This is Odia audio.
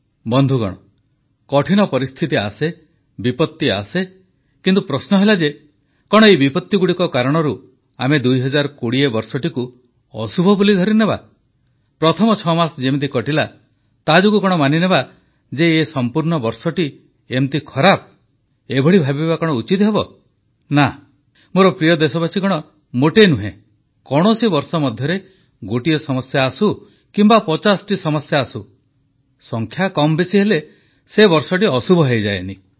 ବନ୍ଧୁଗଣ କଠିନ ପରିସ୍ଥିତି ଆସେ ବିପତ୍ତି ଆସେ କିନ୍ତୁ ପ୍ରଶ୍ନ ହେଲା ଯେ କଣ ଏଇ ବିପତ୍ତିଗୁଡ଼ିକ କାରଣରୁ ଆମେ 2020 ବର୍ଷଟିକୁ ଅଶୁଭ ବୋଲି ଧରିନେବା ପ୍ରଥମ 6 ମାସ ଯେମିତି କଟିଲା ତାଯୋଗୁଁ କଣ ମାନିନେବା ଯେ ଏ ସମ୍ପୂର୍ଣ୍ଣ ବର୍ଷଟି ଏମିତି ଖରାପ ଏଭଳି ଭାବିବା କଣ ଉଚିତ ହେବ ନା ମୋର ପ୍ରିୟ ଦେଶବାସୀଗଣ ମୋଟେ ନୁହେଁ କୌଣସି ବର୍ଷ ମଧ୍ୟରେ ଗୋଟିଏ ସମସ୍ୟା ଆସୁ କିମ୍ବା ପଚାଶଟି ସମସ୍ୟା ଆସୁ ସଂଖ୍ୟା କମ୍ବେଶୀ ହେଲେ ସେ ବର୍ଷଟି ଅଶୁଭ ହୋଇଯାଏନି